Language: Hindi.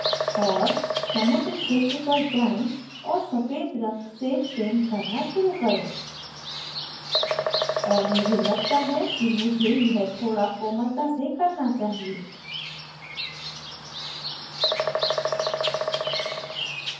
और समुद्र क्षेत्र पर जाएँ और सफ़ेद रंग से पेंट करना शुरु करें और मुझे लगता है कि मुझे यह थोड़ा कोमलता से करना चाहिए